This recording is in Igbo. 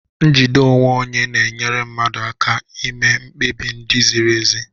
Njide onwe onye na-enyere mmadụ aka ime mkpebi ndị ziri ezi.